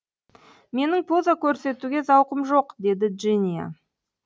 менің поза көрсетуге зауқым жоқ деді джиния